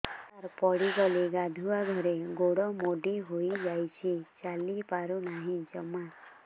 ସାର ପଡ଼ିଗଲି ଗାଧୁଆଘରେ ଗୋଡ ମୋଡି ହେଇଯାଇଛି ଚାଲିପାରୁ ନାହିଁ ଜମା